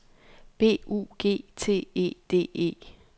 B U G T E D E